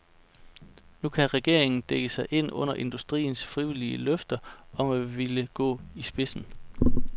Nu kan regeringen dække sig ind under industriens frivillige løfte om at ville gå i spidsen.